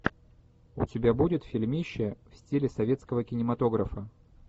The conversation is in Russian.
у тебя будет фильмище в стиле советского кинематографа